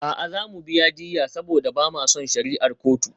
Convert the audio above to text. A'a, za mu biya diyya saboda ba ma son shari'ar kotu.